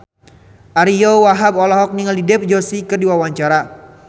Ariyo Wahab olohok ningali Dev Joshi keur diwawancara